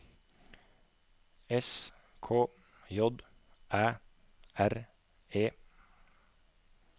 S K J Æ R E